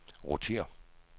rotér